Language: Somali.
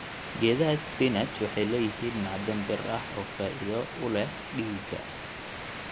Geedaha spinach waxay leeyihiin macdan bir ah oo faa'iido u leh dhiigga.